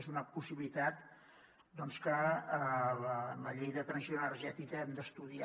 és una possibilitat que a la llei de transició energètica hem d’estudiar